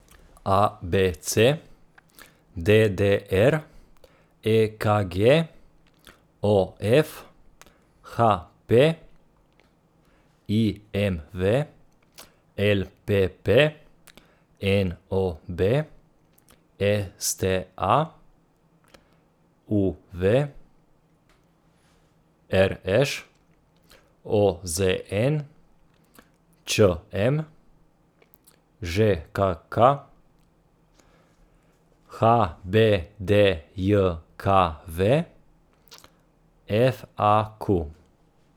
A B C; D D R; E K G; O F; H P; I M V; L P P; N O B; S T A; U V; R Š; O Z N; Č M; Ž K K; H B D J K V; F A Q.